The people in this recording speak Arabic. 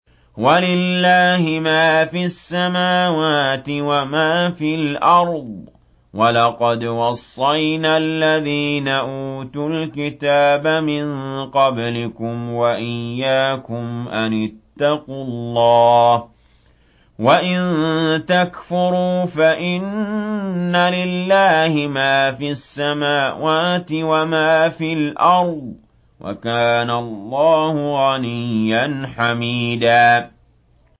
وَلِلَّهِ مَا فِي السَّمَاوَاتِ وَمَا فِي الْأَرْضِ ۗ وَلَقَدْ وَصَّيْنَا الَّذِينَ أُوتُوا الْكِتَابَ مِن قَبْلِكُمْ وَإِيَّاكُمْ أَنِ اتَّقُوا اللَّهَ ۚ وَإِن تَكْفُرُوا فَإِنَّ لِلَّهِ مَا فِي السَّمَاوَاتِ وَمَا فِي الْأَرْضِ ۚ وَكَانَ اللَّهُ غَنِيًّا حَمِيدًا